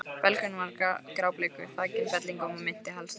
Belgurinn var grábleikur, þakinn fellingum og minnti helst á hval.